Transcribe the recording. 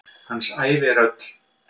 Hans ævi er öll.